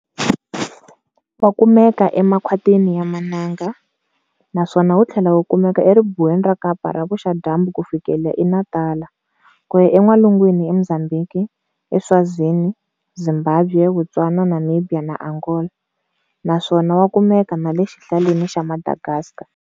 Wa kumeka e makhwatini ya mananga, naswona wuthlela wukumeka e ribuweni ra Kapa ra vuxa-dyambu kufikela e Natala, kuya e nwalungwini e Mzambhiki, e Swazini, Zimbabwe, Botswana, Namibiya na Angola, nsawona wa kumeka nale xihlaleni xa Madagaska.